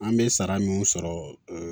An bɛ sara min sɔrɔ